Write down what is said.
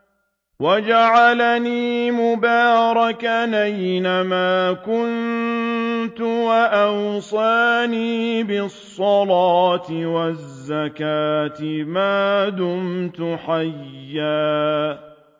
وَجَعَلَنِي مُبَارَكًا أَيْنَ مَا كُنتُ وَأَوْصَانِي بِالصَّلَاةِ وَالزَّكَاةِ مَا دُمْتُ حَيًّا